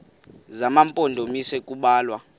zema mpondomise kubalwa